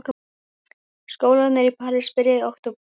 Skólarnir í París byrja í október.